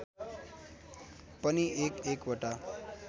पनि एक एकवटा